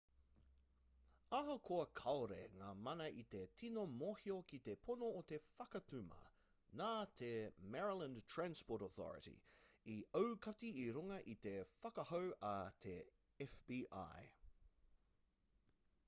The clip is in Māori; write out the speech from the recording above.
ahakoa kāore ngā mana i te tino mōhio ki te pono o te whakatuma nā te maryland transportation authority i aukati i runga i te whakahau a te fbi